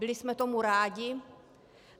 Byli jsme tomu rádi.